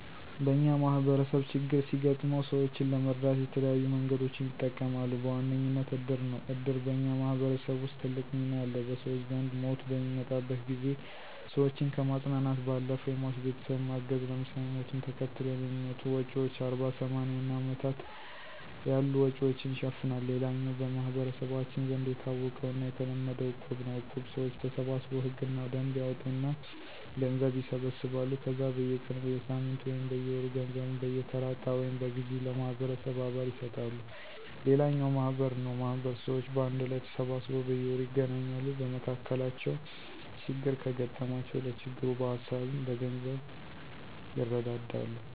በኛ ማህበረሰብ ችግር ሲገጥመው ሰወችን ለመርዳት የተለያዩ መንገዶችን ይጠቀማሉ። በዋነኝነት እድር ነው። እድር በኛ ማህበረሰብ ውስጥ ትልቅ ሚና አለው። በሰወች ዘንድ ሞት በሚመጣበት ጊዜ ሰወችን ከማፅናናት ባለፈ የሟች ቤተሰብን ማገዝ ለምሳሌ፦ ሞትን ተከትለው ለሚመጡ ወጭወች አርባ፣ ሰማኒያ እና አመታት ያሉ ወጭወችን ይሸፍናል። ሌላኛው በመህበረሰባችን ዘንድ የታወቀውና የተለመደው እቁብ ነው። እቁብ ሰወች ተሰባስበው ህግና ደንብ ያወጡና ገንዘብ ይሰበስባሉ ከዛ በየ ቀኑ፣ በየሳምንቱ ወይም በየወሩ ገንዘቡን በየተራ እጣ ወይም በግዠ ለማህበረሰቡ አባል ይሰጣሉ። ሌላኛው ማህበር ነው ማህበር ሰወች በአንድ ላይ ተሰባስበው በየወሩ ይገናኛሉ። በመካከላቸው ችግር ከገጠማቸው ለችግሩ በሀሳብም በገንዘብም ይረዳዳሉ።